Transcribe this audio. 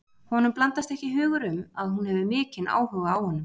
Honum blandast ekki hugur um að hún hefur mikinn áhuga á honum.